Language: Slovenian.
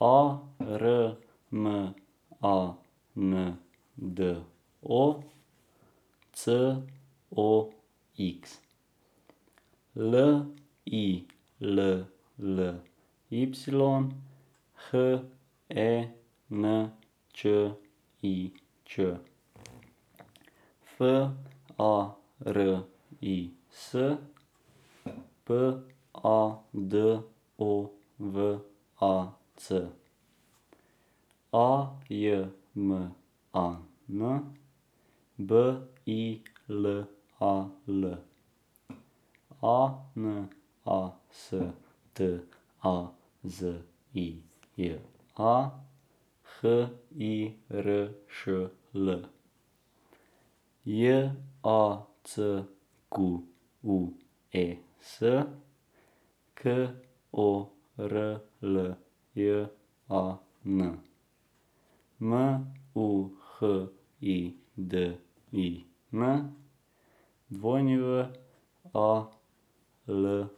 A R M A N D O, C O X; L I L L Y, H E N Č I Č; F A R I S, P A D O V A C; A J M A N, B I L A L; A N A S T A Z I J A, H I R Š L; J A C Q U E S, K O R L J A N; M U H I D I N, W A L L A N D.